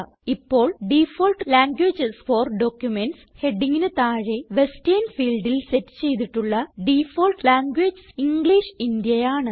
ഇപ്പോൾ default languages for documents ഹെഡിംഗിന് താഴെ വെസ്റ്റർൻ ഫീൽഡിൽ സെറ്റ് ചെയ്തിട്ടുള്ള ഡിഫാൾട്ട് ലാംഗ്വേജ് ഇംഗ്ലിഷ് ഇന്ത്യ ആണ്